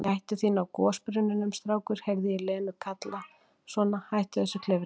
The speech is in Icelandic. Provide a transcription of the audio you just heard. Gættu þín á gosbrunninum, strákur, heyri ég Lenu kalla, svona, hættu þessu klifri.